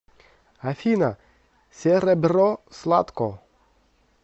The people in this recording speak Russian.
афина серебро сладко